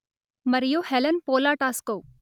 మరియు Helen Polatajko